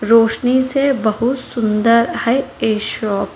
रोशनी से बहुत सुंदर है यह शॉप --